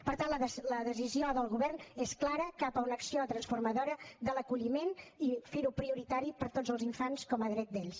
per tant la decisió del govern és clara cap a una acció transformadora de l’acolliment i fer lo prioritari per a tots els infants com a dret d’ells